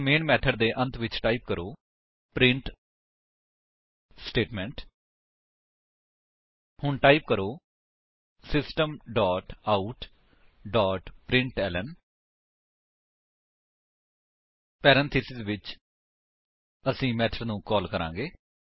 ਹੁਣ main method ਦੇ ਅੰਤ ਵਿੱਚ ਟਾਈਪ ਕਰੋ ਪ੍ਰਿੰਟ ਸਟੇਟਮੈਂਟ ਹੁਣ ਟਾਈਪ ਕਰੋ system dot out dot println 160 parenthesis ਵਿੱਚ ਅਸੀ ਮੇਥਡ ਨੂੰ ਕਾਲ ਕਰਾਂਗੇ